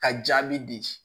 Ka jaabi di